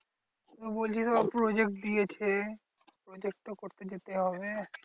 বলছিস আবার project দিয়েছে। project তো করতে যেতে হবে।